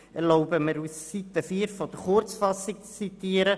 Ich erlaube mir, die Seite 4 der Kurzfassung zu zitieren: